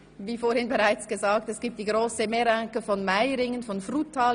Wie vorhin bereits erwähnt, gibt es die grosse Meringue aus Meiringen, Frutal.